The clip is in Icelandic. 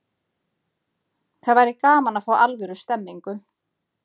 Það væri gaman að fá alvöru stemningu.